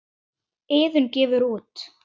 Iðunn gefur út.